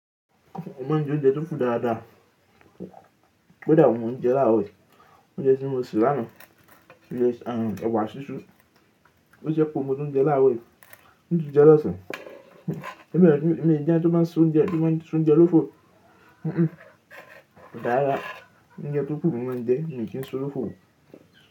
Mọ máa ń jẹ oúnjẹ tó ń fún dáadáa. Ki odà òun ńi mo ń jẹ láàrò yi. Oúnjẹ tí mo sè lánàá ----ẹ̀wà sísú. Ó ṣékù òun mo tún jẹ láàrò yi. Mi tún jẹ lọ́sàn. Mi dẹ̀, mi mi ń jẹ ẹni tó bá ń ṣe oúnjẹ, tó bá ń ṣe oúnjẹ lófo. Dára, oúnjẹ tó kù le mi máa ń jẹ, mi ò kí ń so olófo.